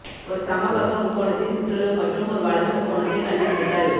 ஒரு சமபக்க முக்கோணத்தின் சுற்றளவு மற்றும் ஒரு வலது முக்கோணத்தை கண்டுபிடித்தல்